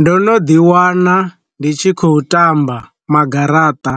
Ndo no ḓi wana ndi tshi khou tamba ma garaṱa,